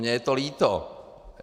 Mně je to líto.